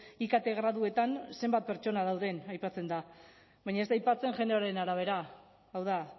ikt graduetan zenbat pertsona dauden aipatzen da baina ez da aipatzen generoaren arabera hau da